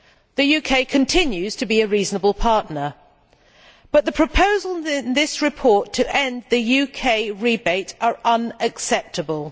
The UK continues to be a reasonable partner, but the proposals in this report to end the UK rebate are unacceptable.